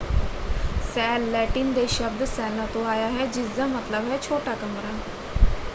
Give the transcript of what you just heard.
Cell Latin ਦੇ ਸ਼ਬਦ ਸੈੱਲਾ” ਤੋਂ ਆਇਆ ਹੈ ਜਿਸਦਾ ਮਤਲਬ ਹੈ ਛੋਟਾ ਕਮਰਾ।